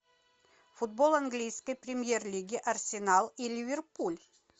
футбол английской премьер лиги арсенал и ливерпуль